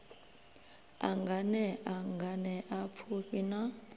a nganea nganea pfufhi na